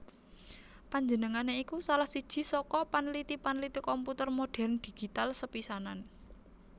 Panjenengané iku salah siji saka panliti panliti komputer modhèrn digital sepisanan